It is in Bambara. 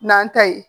N'an ta ye